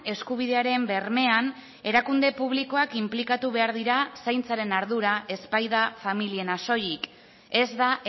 eskubidearen bermean erakunde publikoak inplikatu behar dira zaintzaren ardura ez baita familiena soilik ez da